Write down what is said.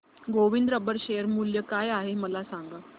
Govind rubber share मूल्य काय आहे मला सांगा